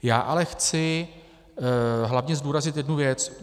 Já ale chci hlavně zdůraznit jednu věc.